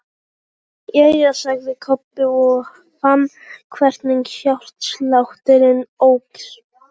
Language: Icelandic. Jæja, sagði Kobbi og fann hvernig hjartslátturinn óx.